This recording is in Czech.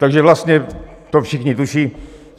Takže vlastně to všichni tuší.